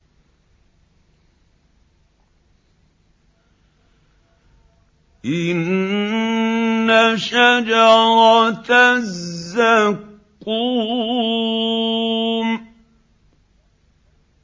إِنَّ شَجَرَتَ الزَّقُّومِ